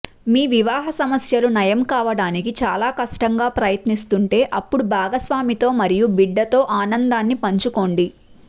మీ వివాహ సమస్యలు నయం కావటానికి చాలా కష్టంగా ప్రయత్నిస్తుంటే అప్పుడు భాగస్వామితో మరియు బిడ్డతో ఆనందాన్ని పంచుకోండి